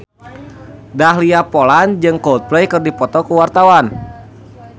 Dahlia Poland jeung Coldplay keur dipoto ku wartawan